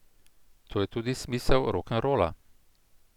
To je tudi smisel rokenrola.